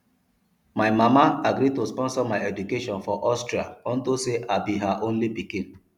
my mama agree to sponsor my education for austria unto say i be her only pikin